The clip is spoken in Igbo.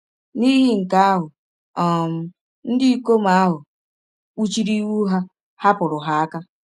N’ihi nke ahụ um, ndị ikom ahụ kpuchiri ihu ha, hapụrụ ha aka.